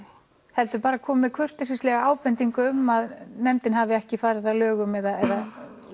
heldur bara komið með kurteisislega ábendingu um að nefndin hafi ekki farið að lögum eða